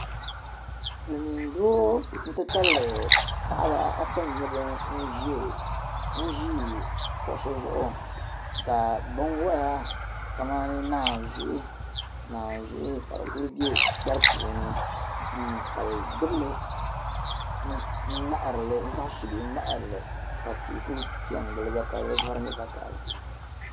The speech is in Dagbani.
Silimiin doo nti tabili paɣiba ata n-nyɛ ban ʒi kuɣisi zuɣu ka binwala kamani naanzuhi ka di ku be piɛri puuni hmm ka bɛ gbibi li zaŋ subihi ŋmahiri li ka tihi ku pe n-gili ba ka di vari nyɛ vakahili.